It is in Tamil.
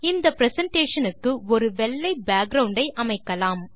இந்த பிரசன்டேஷன் க்கு ஒரு வெள்ளை பேக்கிரவுண்ட் ஐ அமைக்கலாம்